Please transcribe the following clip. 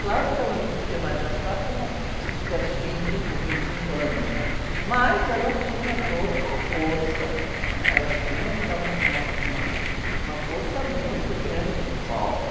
Claro que ela não podia mais dançar como se tivesse vinte ou vinte e cinco anos, mas ela tinha toda uma força, né? Ela tinha ainda uma, uma, uma, uma força muito grande no palco.